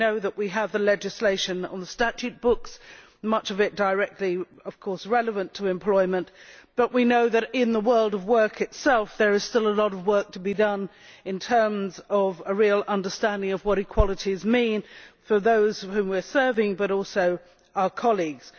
We know that we have the legislation on the statute books much of it directly, of course, relevant to employment but we know that in the world of work itself there is still a lot of work to be done in terms of a real understanding of what equalities mean for those whom we are serving, but also for our colleagues.